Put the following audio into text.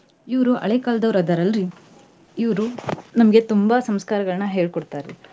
ಇವ್ರು ಹಳೆ ಕಾಲದವರ ಅದಾರ್ ಅಲ್ರೀ ಇವ್ರು ನಮ್ಗೆ ತುಂಬಾ ಸಂಸ್ಕಾರಗಳನ್ನ ಹೇಳಿ ಕೊಡ್ತಾರಿ.